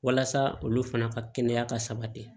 Walasa olu fana ka kɛnɛya ka sabati